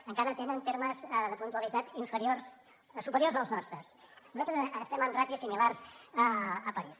i encara tenen termes de puntualitat inferiors als nostres nosaltres estem en ràtios similars a parís